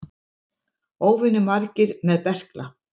Óvenju margir með berkla